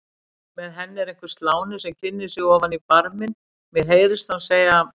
Með henni er einhver sláni sem kynnir sig ofan í barminn, mér heyrist hann segja